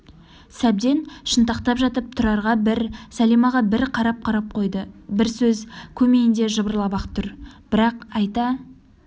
сәбден шынтақтап жатып тұрарға бір сәлимаға бір қарап-қарап қойды бір сөз көмейінде жыбырлап-ақ тұр бірақ айта